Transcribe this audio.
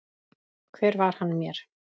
Hver var hann mér?